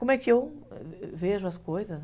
Como é que eu vejo as coisas?